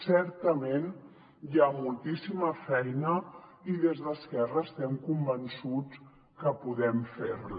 certament hi ha moltíssima feina i des d’esquerra estem convençuts que podem fer la